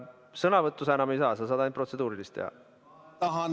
Sõnavõttu sa enam ei saa, sa saad ainult protseduurilist esitada.